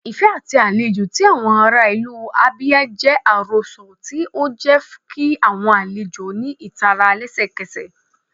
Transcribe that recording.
Ifẹ ati alejò ti awọn ara ilu Abia jẹ arosọ, ti o jẹ ki awọn alejo ni itara lẹsẹkẹsẹ.